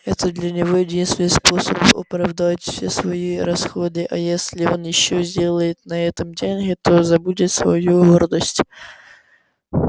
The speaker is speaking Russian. это для него единственный способ оправдать все свои расходы а если он ещё сделает на этом деньги то забудет свою гордость